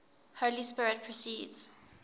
holy spirit proceeds